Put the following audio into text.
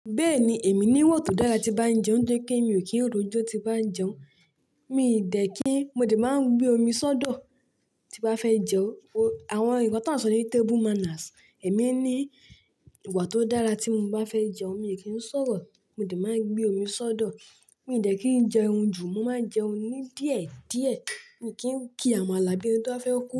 Bẹ́ẹ̀ni, èmi ní ìwà tó dára tí bá ń jẹun nitori pẹ́ mi ò kí ń rò jó tí bá ń jẹun. Mì ì dẹ̀ kí n, mo dẹ̀ máa ń gbé omi sọ́dọ̀ tí n bá fẹ́ jẹun. Àwọn nnkan tí a ń sọ ní table manners, èmi ní ìwà tó dára tí mo bá fẹ́ jẹun, mi ò kí ń sọ̀rọ̀, mi o dẹ̀ máa ń gbé omi sọ́dọ̀. Mi ì dẹ̀ kí n jẹun jù, mo máa ń jẹun ní díẹ̀díẹ̀, mi ò kí ń kí amala bi eni tó ba fẹ́ kú.